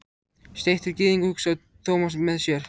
Steiktur gyðingur, hugsaði Thomas með sér.